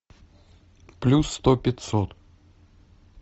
плюс сто пятьсот